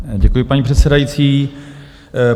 Děkuji, paní předsedající.